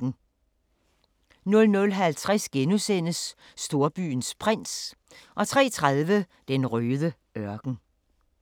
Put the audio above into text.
00:50: Storbyens prins * 03:30: Den røde ørken